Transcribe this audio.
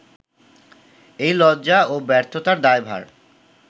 এই লজ্জা ও ব্যর্থতার দায়ভার